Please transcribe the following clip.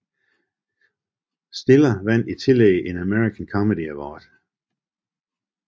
Stiller vandt i tillæg en American Comedy Award